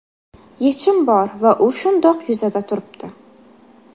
Yechim bor va u shundoq yuzada turibdi.